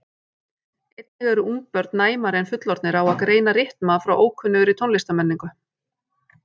Einnig eru ungbörn næmari en fullorðnir á að greina rytma frá ókunnugri tónlistarmenningu.